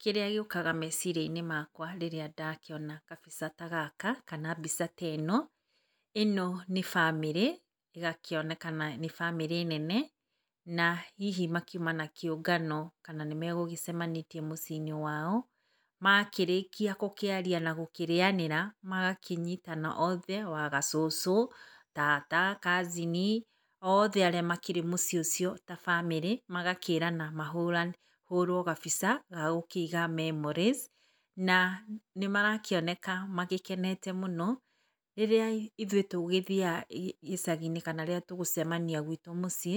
Kĩrĩa gĩũkaga meciria-inĩ makwa rĩrĩa ndakĩona kabica ta gaka kana mbica ta ĩno, ĩno nĩ bamĩrĩ, ĩgakĩonekana nĩ bamĩrĩ nene, na hihi makiuma na kĩũngano kana nĩ magũgĩcemanĩtie mũciĩ-inĩ wao, makĩrĩkia gũkĩaria na gũkĩrĩanĩra, magakĩnyitana othe, wagacũcũ, tata, cousin , othe arĩa makĩrĩ mũciĩ ũcio ta bamĩrĩ magakĩĩrana mahũrwo gabica ga gũkĩiga memories. Na nĩmarakĩoneka magĩkenete mũno. Rĩrĩa ithuĩ tũgĩthiaga icagi-inĩ kana rĩrĩa tũgũcemania gwitũ mũciĩ